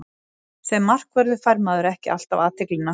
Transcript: Sem markvörður fær maður ekki alltaf athyglina.